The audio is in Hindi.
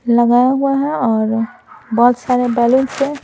लगाया हुआ है और बहुत सारे बैलून है।